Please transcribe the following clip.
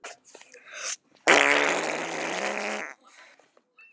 En voru það vonbrigði að koma svo seint?